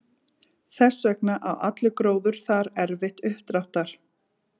Þess vegna á allur gróður þar erfitt uppdráttar.